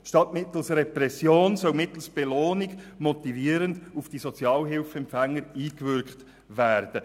Statt mittels Repression soll mittels Belohnung motivierend auf die Sozialhilfeempfänger eingewirkt werden.